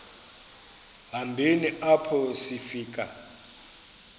hambeni apho sifika